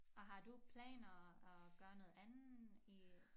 Og har du planer at gøre noget andet i